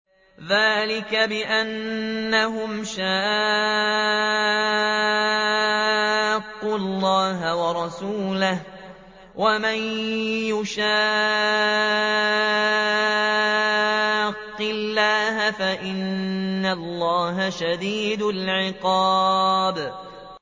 ذَٰلِكَ بِأَنَّهُمْ شَاقُّوا اللَّهَ وَرَسُولَهُ ۖ وَمَن يُشَاقِّ اللَّهَ فَإِنَّ اللَّهَ شَدِيدُ الْعِقَابِ